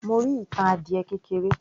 Mo rí ìtàn adiẹ kékeré